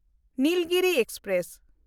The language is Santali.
ᱱᱤᱞᱜᱤᱨᱤ ᱮᱠᱥᱯᱨᱮᱥ